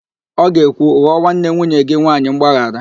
Ọ ga-ekwu, ghọọ nwanne nwunye gị nwaanyị mgbaghara!